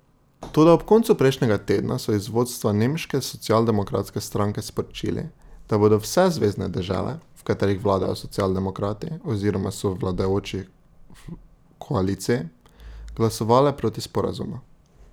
Toda ob koncu prejšnjega tedna so iz vodstva nemške socialdemokratske stranke sporočili, da bodo vse zvezne dežele, v katerih vladajo socialdemokrati oziroma so v vladajoči koaliciji, glasovale proti sporazumu.